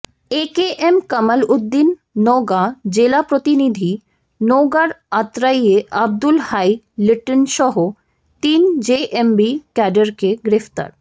AKM Kamal Uddin Naogaon জেলা প্রতিনিধিঃ নওগাঁর আত্রাইয়ে আব্দুল হাই লিটনসহ তিন জেএমবি ক্যাডারকে গ্রেফতার